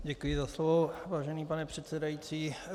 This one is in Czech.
Děkuji za slovo, vážený pane předsedající.